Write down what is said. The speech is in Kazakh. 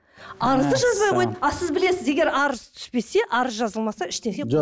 арызды жазбай қойды ал сіз білесіз егер арыз түспесе арыз жазылмаса ештеңе